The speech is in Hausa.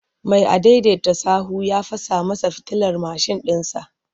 Mai adaidaita sahu ya fasa masa fitilar bayan mashin ɗinsa.